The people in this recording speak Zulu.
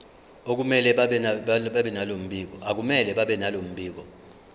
akumele babenalo mbiko